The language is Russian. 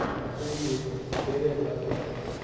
отцы и дети серия двадцать три